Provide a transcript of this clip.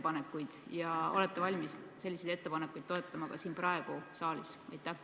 Ja kas te olete valmis neid toetama ka praegu siin saalis?